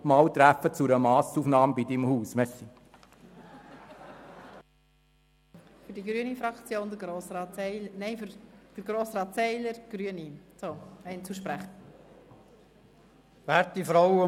: Vielleicht ist es gut, wenn wir uns ausserhalb der Session einmal bei Ihrem Haus zu einer Massaufnahme treffen.